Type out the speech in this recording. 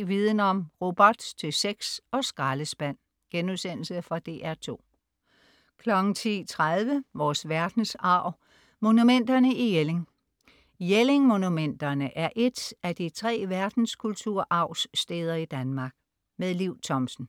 10.00 Viden Om: Robot til sex og skraldespand.* Fra DR2 10.30 Vores Verdensarv: Monumenterne i Jelling. Jelling-monumenterne er et af de 3 Verdenskulturarvssteder i Danmark. Liv Thomsen